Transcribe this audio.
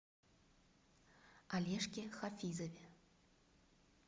олежке хафизове